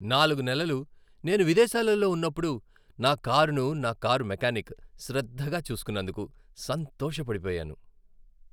నాలుగు నెలలు నేను విదేశాలలో ఉన్నప్పుడు నా కారును నా కారు మెకానిక్ శ్రద్ధగా చూసుకున్నందుకు సంతోషపడిపోయాను.